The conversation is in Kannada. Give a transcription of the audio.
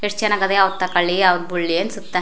ಎಷ್ಟ ಚನ್ನಾಗವೇ ಅವು ತಕೊಳ್ಳಿ ಅವು ಬುಳ್ಳಿ ಅನ್ನಸುತ್ತ --